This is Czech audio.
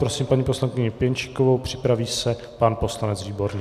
Prosím paní poslankyni Pěnčíkovou, připraví se pan poslanec Výborný.